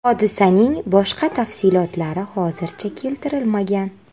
Hodisaning boshqa tafsilotlari hozircha keltirilmagan.